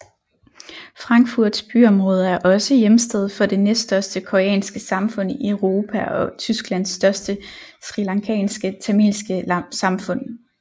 Frankfurts byområde er også hjemsted for det næststørste koreanske samfund i Europa og Tysklands største srilankanske tamilske samfund